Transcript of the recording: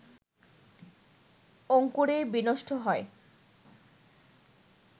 অঙ্কুরেই বিনষ্ট হয়